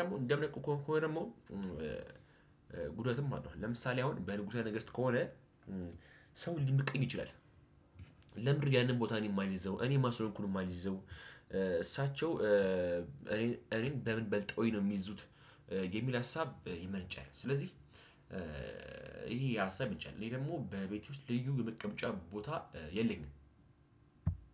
ደግሞ እንደምነቃቆም ከሆነ ደግሞ ጉዳትም አለው ለምሳሌ አሁን በንጉሰ ነገስት ከሆነ ሰው ሊመቀኝ ይችላል። ለምንድነው ያንን ቦታን የማልይዘው? እኔ ማን ስለሆንኩኝ ነው የማልይዘው? እሳቸው እኔን እኔን በምን በልጠውኝ ነው የሚይዙት? የሚል ሀሳብ ይመነጫል። ስለዚህ ይሄ ሀሳብ ይመነጫል። እኔ ደግሞ በቤቴ ውስጥ ልዩ የመቀመጫ ቦታ የለኝም።